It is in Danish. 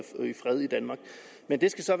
fred i danmark men det skal så